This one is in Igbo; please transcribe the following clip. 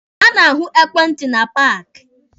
A na-ahụ ekwentị na paaki.